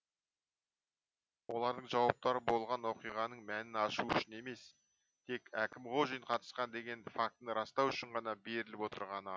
олардың жауаптары болған оқиғаның мәнін ашу үшін емес тек әкімғожин қатысқан деген фактіні растау үшін ғана беріліп отырғаны а